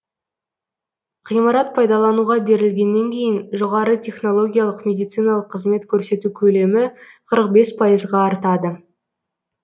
ғимарат пайдалануға берілгеннен кейін жоғары технологиялық медициналық қызмет көрсету көлемі қырық бес пайызға артады